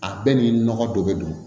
A bɛɛ ni nɔgɔ dɔ be don